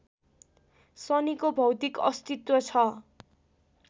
शनिको भौतिक अस्तित्व छ